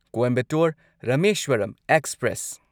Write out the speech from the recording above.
Coimbatore Rameswaram express